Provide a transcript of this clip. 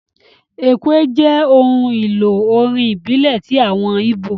Ekwe jẹ́ ohun èlò orin ìbílẹ̀ ti àwọn ìbó